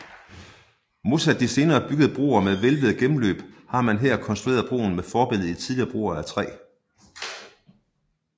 Modsat de senere byggede broer med hvælvede gennemløb har man her konstrueret broen med forbillede i tidligere broer af træ